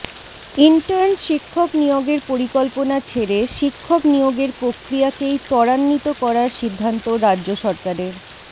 intern শিক্ষক নিয়োগের পরিকল্পনা ছেড়ে শিক্ষক নিয়োগের প্রক্রিয়াকেই ত্বরান্বিত করার সিদ্ধান্ত রাজ্য সরকারের